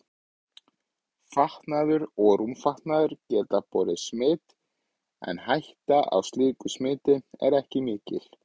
Fatnaður og rúmfatnaður getur borið smit en hætta á slíku smiti er ekki mikil.